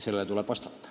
Sellele tuleb vastata.